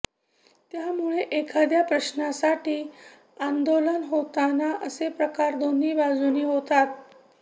त्यामुळे एखाद्या प्रश्नासाठी आंदोलन होताना असे प्रकार दोन्ही बाजूंनी होतात